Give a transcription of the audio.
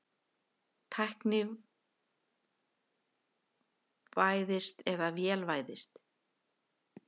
Tæknivæðst eða vélvæðst?